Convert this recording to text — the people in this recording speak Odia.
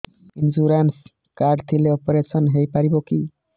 ଇନ୍ସୁରାନ୍ସ କାର୍ଡ ଥିଲେ ଅପେରସନ ହେଇପାରିବ କି